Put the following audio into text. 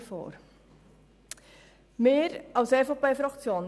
Ich komme mir etwas allein auf weiter Flur vor.